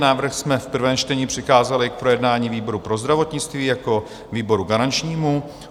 Návrh jsme v prvním čtení přikázali k projednání výboru pro zdravotnictví jako výboru garančnímu.